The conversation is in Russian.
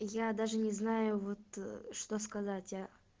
я даже не знаю вот что сказать а